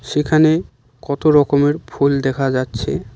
যেখানে কত রকমের ফুল দেখা যাচ্ছে।